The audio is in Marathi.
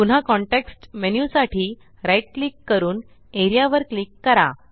पुन्हा कॉन्टेक्स्ट मेन्यु साठी right क्लिक करून एआरईए वर क्लिक करा